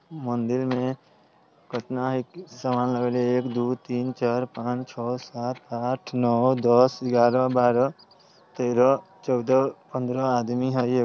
मंदिर में केतना एक सामान लगले है एक दू तीन चार पांच छो सात आठ नो दस ग्यारह बारह तेरह चौदह पंद्रह आदमी है ए --